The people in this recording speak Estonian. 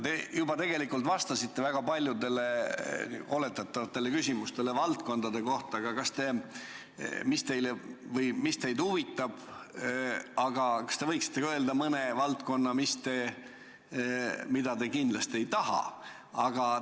Te tegelikult juba vastasite väga paljudele oletatavatele küsimustele, mis valdkonnad teid huvitavad, aga kas te võiksite ka öelda mõne valdkonna, mida te kindlasti ei taha?